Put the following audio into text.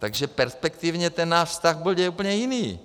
Takže perspektivně náš vztah bude úplně jiný.